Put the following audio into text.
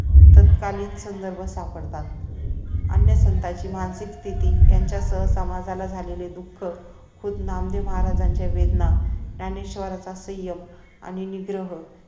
तत्कालीन संदर्भ सापडतात अन्य संतांची मानसिक स्तिथी त्यांच्यासह समाजाला झालेली दुःख खुद्द नामदेव महाराज्यांच्या वेदना ज्ञानेश्वरांचा संयम आणि निग्रह